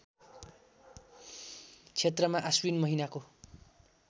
क्षेत्रमा आश्विन महिनाको